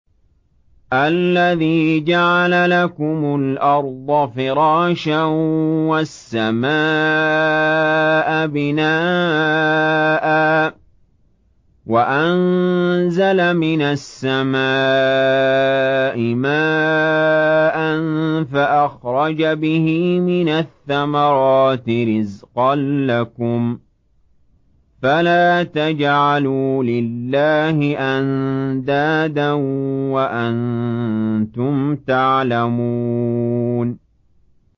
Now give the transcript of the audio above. الَّذِي جَعَلَ لَكُمُ الْأَرْضَ فِرَاشًا وَالسَّمَاءَ بِنَاءً وَأَنزَلَ مِنَ السَّمَاءِ مَاءً فَأَخْرَجَ بِهِ مِنَ الثَّمَرَاتِ رِزْقًا لَّكُمْ ۖ فَلَا تَجْعَلُوا لِلَّهِ أَندَادًا وَأَنتُمْ تَعْلَمُونَ